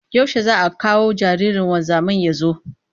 Yaushe za a kawo jaririn wanzamin ya zo?